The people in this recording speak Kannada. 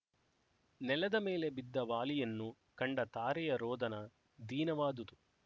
ನೆಲದ ಮೇಲೆ ಬಿದ್ದ ವಾಲಿಯನ್ನು ಕಂಡ ತಾರೆಯ ರೋದನ ದೀನವಾದುದು